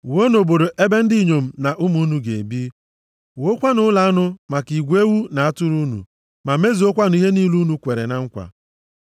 Wuonụ obodo ebe ndị inyom na ụmụ unu ga-ebi, wuokwanụ ụlọ anụ maka igwe ewu na atụrụ unu, ma mezuokwanụ ihe niile unu kweere na nkwa.”